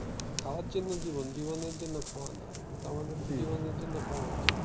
খাওয়ার জন্য জীবন জীবনের জন্য খাওয়া না। কিন্তু আমাদেরতো জীবনের জন্য খাওয়া উচিত।